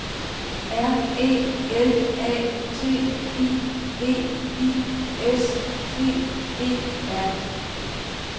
R E L A T I V I S T E R